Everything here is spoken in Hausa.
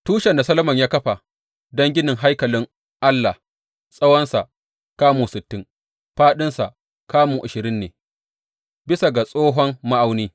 Tushen da Solomon ya kafa don ginin haikalin Allah tsawonsa kamun sittin, fāɗinsa kamun ashirin ne bisa ga tsohon ma’auni.